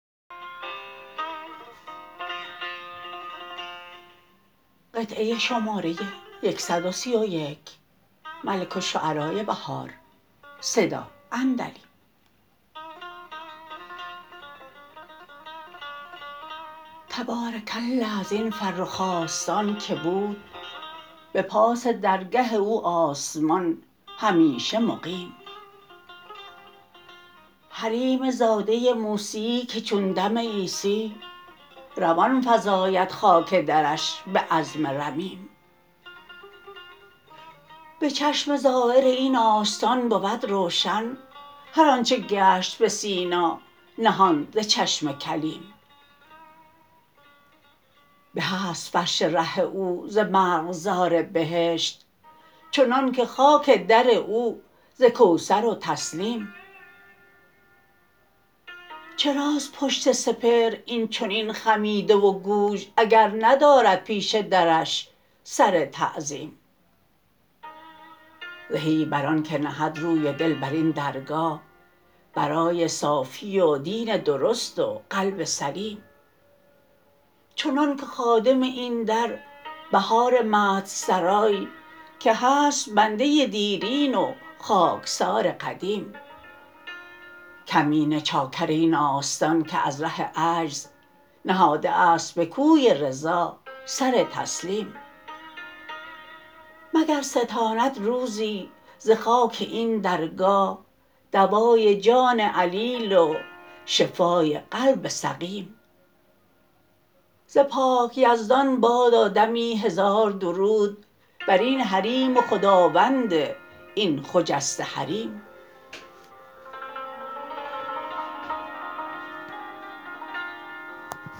تبارک الله از این فرخ آستان که بود به پاس درگه او آسمان همیشه مقیم حریم زاده موسی که چون دم عیسی روان فزاید خاک درش به عظم رمیم به چشم زایر این آستان بود روشن هرآنچه گشت به سینا نهان ز چشم کلیم به است فرش ره او ز مرغزار بهشت چنان که خاک در او زکوثر و تسنیم چراست پشت سپهر این چنین خمیده و گوژ اگر ندارد پیش درش سر تعظیم زهی بر آن که نهد روی دل بر این درگاه برای صافی و دین درست و قلب سلیم چنان که خادم این در بهار مدح سرای که هست بنده دیرین و خاکسار قدیم کمینه چاکر این آستان که از ره عجز نهاده است به کوی رضا سر تسلیم مگر ستاند روزی ز خاک این درگاه دوای جان علیل و شفای قلب سقیم ز پاک یزدان بادا دمی هزار درود بر این حریم و خداوند این خجسته حریم